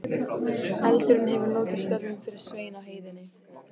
Eldurinn hefur lokið störfum fyrir Svein á heiðinni.